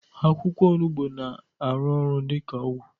Akwụkwọ onugbu na arụ ọrụ dika ọgwụ